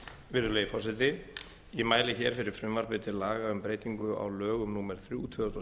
virðulegi forseti ég mæli hér fyrir frumvarpi til laga um breytingu á lögum númer þrjú tvö þúsund og